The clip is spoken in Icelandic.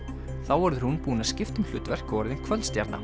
þá verður hún búin að skipta um hlutverk og orðin